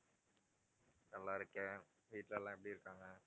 நல்லா இருக்கேன் வீட்டுல எல்லாம் எப்படி இருக்காங்க?